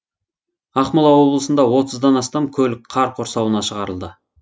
ақмола облысында отыздан астам көлік қар құрсауынан шығарылды